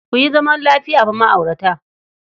Ku yi zaman lafiya fa ma'aurata.